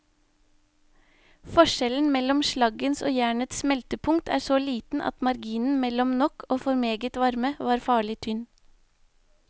Forskjellen mellom slaggens og jernets smeltepunkt er så liten at marginen mellom nok og for meget varme var farlig tynn.